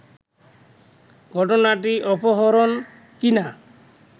ঘটনাটি অপরহণ কি-না